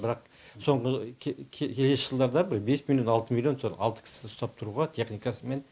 бірақ соңғы келесі жылдарда бір бес миллион алты миллион сол алты кісі ұстап тұруға техникасымен